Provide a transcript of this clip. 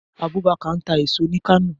Abubakar ń ta èèso ni Kano